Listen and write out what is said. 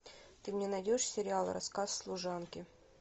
ты мне найдешь сериал рассказ служанки